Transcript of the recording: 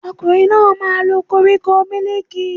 Ọkùnrin náà máa lo koríko mílìkì